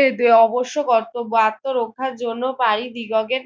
এ দে অবশ্য কার্তব আত্মরক্ষার জন্য পারি দিগকের